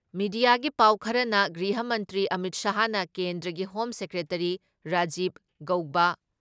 ꯃꯤꯗꯤꯌꯥꯒꯤ ꯄꯥꯎ ꯈꯔꯅ ꯒ꯭ꯔꯤꯍ ꯃꯟꯇ꯭ꯔꯤ ꯑꯃꯤꯠ ꯁꯥꯍꯅ ꯀꯦꯟꯗ꯭ꯔꯒꯤ ꯍꯣꯝ ꯁꯦꯀ꯭ꯔꯦꯇꯔꯤ ꯔꯥꯖꯤꯕ ꯒꯧꯕꯥ